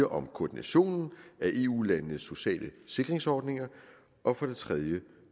om koordinationen af eu landenes sociale sikringsordninger og for det tredje